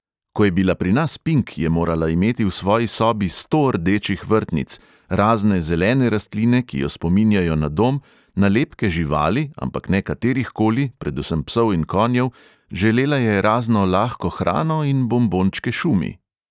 Ko je bila pri nas pink, je morala imeti v svoji sobi sto rdečih vrtnic, razne zelene rastline, ki jo spominjajo na dom, nalepke živali, ampak ne katerihkoli, predvsem psov in konjev, želela je razno lahko hrano in bombončke šumi.